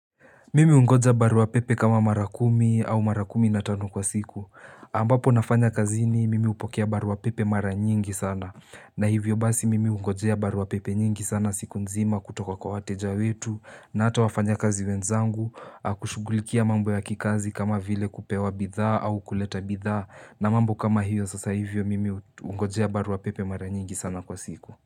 Mimi hungoja barua pepe kama mara kumi au mara kumi na tano kwa siku. Ambapo nafanya kazini, mimi hupokea barua pepe mara nyingi sana. Na hivyo basi, mimi hungojea barua pepe nyingi sana siku nzima kutoka kwa wateja wetu, na hata wafanyakazi wenzangu, kushugulikia mambo ya kikazi kama vile kupewa bidhaa au kuleta bidhaa, na mambo kama hiyo sasa hivyo, mimi hungojea barua pepe mara nyingi sana kwa siku.